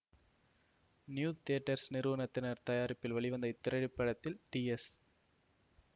new Theatres நிறுவனத்தினரின் தயாரிப்பில் வெளிவந்த இத்திரைப்படத்தில் டி எஸ்